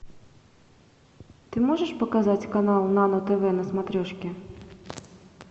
ты можешь показать канал нано тв на смотрешке